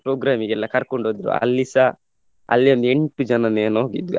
program ಗೆ ಎಲ್ಲ ಕರ್ಕೊಂಡ್ ಹೋದ್ರು ಅಲ್ಲಿಸಾ ಅಲ್ಲಿ ಒಂದ್ ಎಂಟು ಜನ ಏನೋ ನೋಡಿದ್ದು.